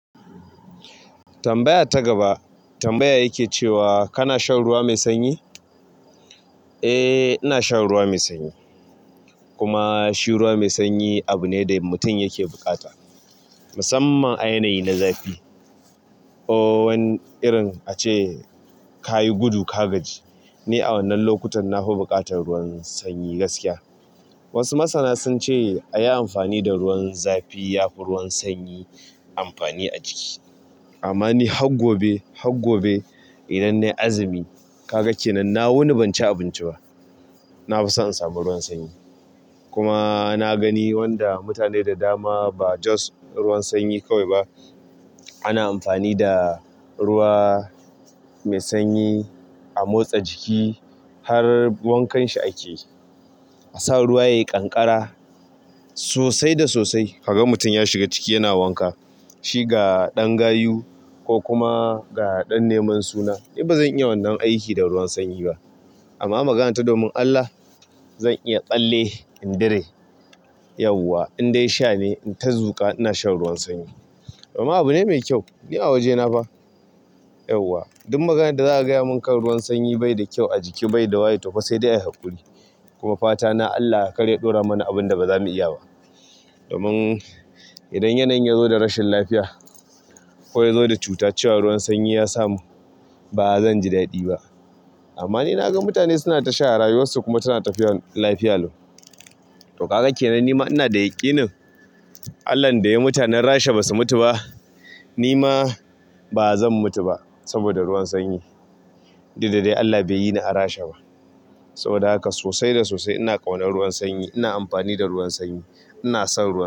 Tambaya ta gaba tambaya yake cewa kana shan ruwa mai sanyi? Eh, ina shan ruwa mai sanyi. Kuma shi mai ruwa mai sanyi abu ne da mutum yake buƙata musamman a yanayi na zafi. Wani irin ace kayi gudu ka gaji. Ni a wannan lokutan na fi buƙatar ruwan sanyi gaskiya. Wasu masana sun ce a yi amfani da ruwan zafi yafi ruwan sanyi amfani a jiki. Amma ni har gobe idan nayi azumi, kaga kenan na wuni ban ci abinci na fi so in samu ruwan sanyi. Kuma na gani wanda mutane da dama ba just ruwan sanyi kawai ba, ana amfani da ruwa mai sanyi a motsa jiki har wankanshi ake. A sa ruwa yayi ƙanƙara sosai da sosai, ka ga mutum ya shiga ciki yana wanka. Shi ga ɗan gayu ko kuma ga ɗan neman suna. Ni ba zan iya wannan aiki da ruwan sanyi ba. Amma magana ta domin Allah zan iya tsalle in dure. Yauwa indai sha ne ku ta zuƙa ina shan ruwan sanyi kuma abu ne mai kyau. Ni a wajena fa. Yauwa duk maganar da za a gaya min kan ruwan sanyi bai da kyau a jiki bai da waye tofa sai dai ayi haƙuri kuma fatana Allah kar ya ɗora mana abin baza mu iya ba domin in yanayin yazo da rashin lafiya ko yazo da cuta, cewan ruwan sanyi ya samin amma ni naga mutane suna ta sha a rayuwar su kuma suna tafiya lafiya lau to kaga kenan nima ina da yaƙinin Allah da yayi mutanen Rasha basu mutu ba nima bazan mutu ba saboda ruwan sanyi duk dai Allah bai yini a Rasha ba saboda haka sosai da sosai ina ƙaunar ruwan sanyi ina amfani da ruwan sanyi ina son ruwan sanyi.